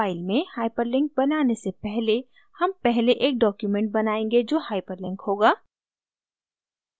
file में hyperlink बनाने से पहले हम पहले एक document बनायेंगे जो hyperlink होगा